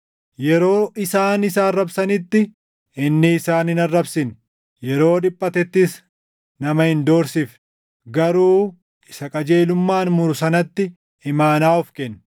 Yeroo isaan isa arrabsanitti inni isaan hin arrabsine; yeroo dhiphatettis nama hin doorsifne. Garuu isa qajeelummaan muru sanatti imaanaa of kenne.